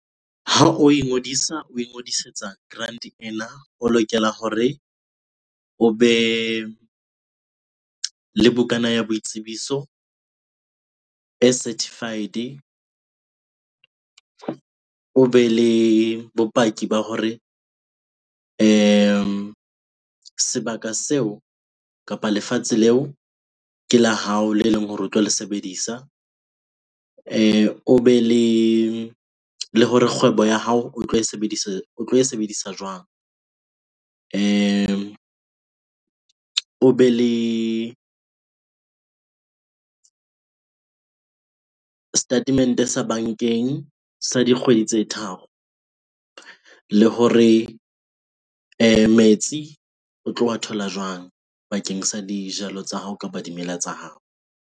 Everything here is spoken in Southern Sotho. Ha o ingodisa, o ngodisetsa grant-e ena. O lokela hore o be le bukana ya boitsebiso e certified-e. O be le bopaki ba hore sebaka seo kapa lefatshe leo ke la hao le leng hore o tlo le sebedisa. O be le hore kgwebo ya hao o tlo e sebedisa jwang? O be le statement-e sa bankeng sa dikgwedi tse tharo le hore metsi o tlo wa thola jwang bakeng sa dijalo tsa hao kapa dimela tsa hao?